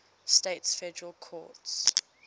states federal courts